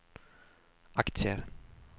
aktier